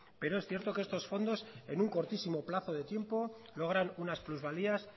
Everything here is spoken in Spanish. pero es cierto que estos fondos en un cortísimo plazo de tiempo logran unas plusvalías